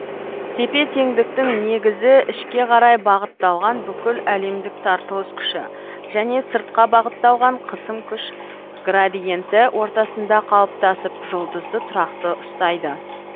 тепе теңдіктің негізі ішке қарай бағытталған бүкіл әлемдік тартылыс күші және сыртқа бағытталған қысым күш градиенті ортасында қалыптасып жұлдызды тұрақты ұстайды